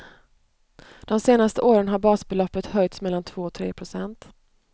De senaste åren har basbeloppet höjts mellan två och tre procent.